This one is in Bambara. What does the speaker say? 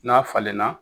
N'a falenna